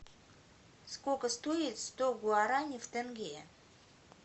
сколько стоит сто гуарани в тенге